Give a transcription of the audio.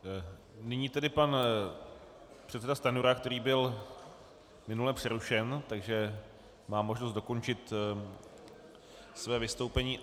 Nyní tedy pan předseda Stanjura, který byl minule přerušen, takže má možnost dokončit své vystoupení.